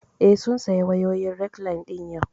Eh, sun saya wayoyin rekline ɗin yau